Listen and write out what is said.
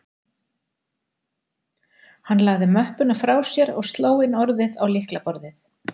Hann lagði möppuna frá sér og sló inn orðið á lyklaborðið